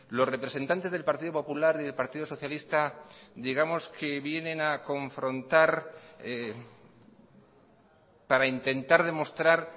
los representantes del partido popular y del partido socialista digamos que vienen a confrontar para intentar demostrar